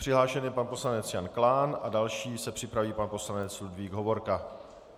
Přihlášen je pan poslanec Jan Klán, další se připraví pan poslanec Ludvík Hovorka.